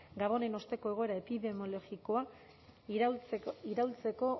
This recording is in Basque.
gabonen osteko egoera epidemiologikoa iraultzeko